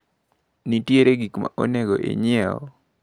Nitiere gikmaonego inyieu?